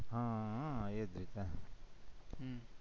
હહહ એ જ રીતના